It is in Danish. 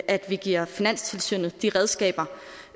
at vi giver finanstilsynet de redskaber